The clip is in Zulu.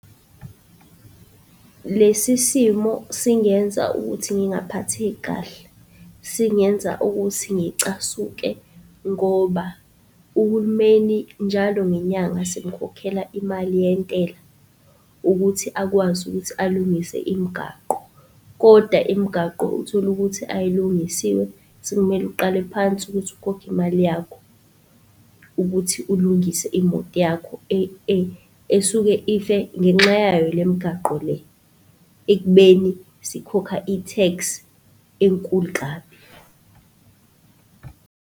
Lesi simo singenza ukuthi ngingaphatheki kahle, singenza ukuthi ngicasuke ngoba uhulumeni njalo ngenyanga simukhokhela imali yentela ukuthi akwazi ukuthi alungise imigaqo kodwa imigaqo uthole ukuthi ayilungisiwe. Sekumele uqale phansi ukuthi ukhokhe imali yakho ukuthi ulungise imoto yakho esuke ife ngenxa yayo lemigaqo le, ekubeni sikhokha i-tax enkulu kabi.